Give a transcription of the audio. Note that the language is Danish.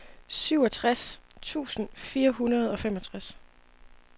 syvogtres tusind fire hundrede og femogtres